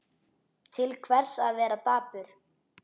Til hvers að vera dapur?